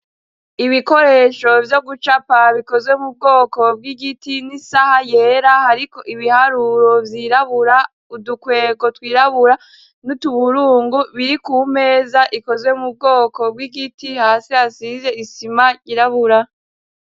Ibikoresho vyo gucapa bikozwe mu bwoko bw'igiti n'isaha yera hariko ibiharuro vyirabura udukwego twirabura n'utuburungu biri kumeza ikozwe mu bwoko bw'igiti hasi hasize isima yirabura.